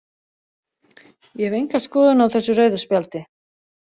Ég hef enga skoðun á þessu rauða spjaldi.